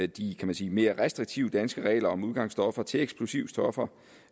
de kan man sige mere restriktive danske regler om udgangsstoffer til eksplosivstoffer